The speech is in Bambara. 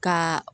Ka